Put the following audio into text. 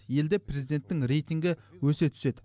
елде президенттің рейтингі өсе түседі